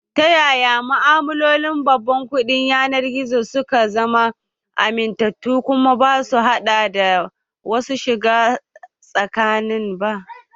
Ta yaya ma'amalolin babban kuɗin yanar gizo suka zama amintattu kuma basu haɗa da masu shiga tsakani ba?